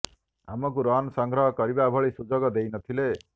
ଆମକୁ ରନ୍ ସଂଗ୍ରହ କରିବା ଭଳି ସୁଯୋଗ ଦେଇ ନଥିଲେ